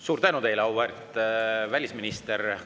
Suur tänu teile, auväärt välisminister!